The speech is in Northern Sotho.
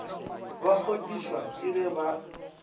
ba kgodišwa ke ge ba